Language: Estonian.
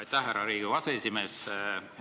Aitäh, härra Riigikogu aseesimees!